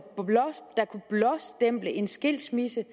blåstemple en skilsmisse